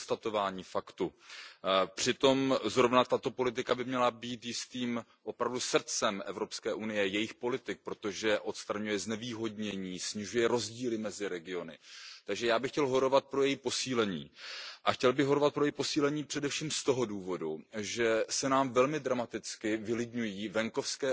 To je konstatování faktu. Přitom zrovna tato politika by měla být jistým opravdu srdcem Evropské unie, jejich politik, protože odstraňuje znevýhodnění, snižuje rozdíly mezi regiony, takže já bych chtěl horovat pro její posílení a chtěl bych horovat pro její posílení především z toho důvodu, že se nám velmi dramaticky vylidňují venkovské